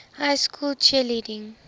high school cheerleading